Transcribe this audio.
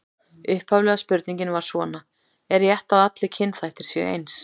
Upphaflega spurningin var svona: Er rétt að allir kynþættir séu eins?